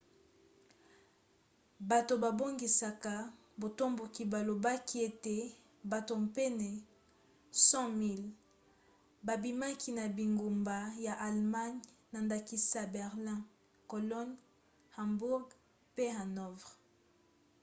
bato babongisaki batomboki balobaki ete bato pene ya 100 000 babimaki na bingumba ya allemagne na ndakisa berlin cologne hamburg pe hanovre